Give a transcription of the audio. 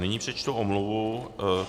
Nyní přečtu omluvu.